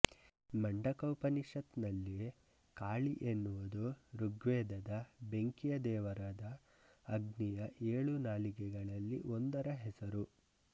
ಮಂಡಕ ಉಪನಿಷತ್ ನಲ್ಲಿ ಕಾಳಿ ಎನ್ನುವುದು ಋಗ್ವೇದದ ಬೆಂಕಿಯ ದೇವರಾದ ಅಗ್ನಿಯ ಏಳು ನಾಲಿಗೆಗಳಲ್ಲಿ ಒಂದರ ಹೆಸರು